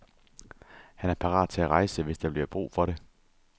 Han er parat til at rejse, hvis der bliver brug for det.